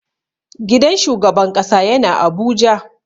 Gidan shugaban ƙasa yana abuja.